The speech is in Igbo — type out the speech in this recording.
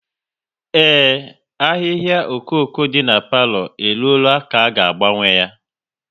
Ee, ahịhịa okoko dị n'palo e ruola ka a ga agbanwe ya